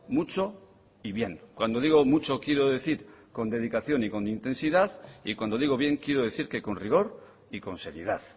mucho y bien cuando digo mucho quiero decir con dedicación y con intensidad y cuando digo bien quiero decir que con rigor y con seriedad